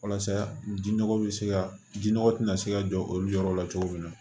Walasa ji nɔgɔ bɛ se ka jinɔgɔ tina se ka jɔ olu yɔrɔ la cogo min na